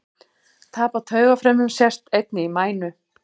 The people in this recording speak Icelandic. Tap á taugafrumum sést einnig í mænu.